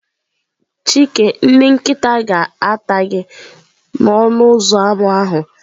Chike ndị nkịta ga-ata gị gaa n'ọnụ ụzọ ámá ahụ.